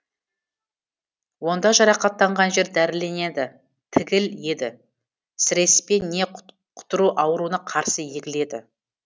онда жарақаттанған жер дәріленеді тігіл еді сіреспе не құтыру ауруына қарсы егіледі